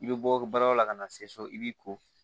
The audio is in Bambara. I bɛ bɔ balola ka na se so i b'i ko